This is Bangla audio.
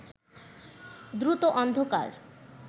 দ্রুত অন্ধকার